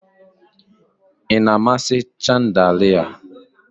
Ị na-amasị chandalia?